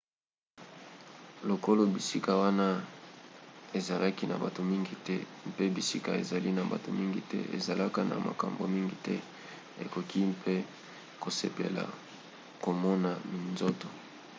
lokolo bisika wana ezalaki na bato mingi te mpe bisika ezali na bato mingi te ezalaka na makambo mingi te okoki mpe kosepela komona minzoto